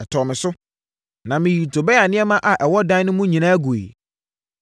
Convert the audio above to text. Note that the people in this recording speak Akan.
ɛtɔɔ me so, na meyii Tobia nneɛma a ɛwɔ dan no mu no nyinaa guiɛ.